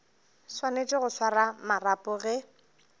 swanetše go swara marapo ge